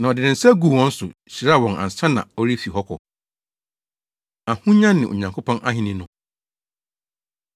Na ɔde ne nsa guu wɔn so, hyiraa wɔn ansa na ɔrefi hɔ akɔ. Ahonya Ne Onyankopɔn Ahenni No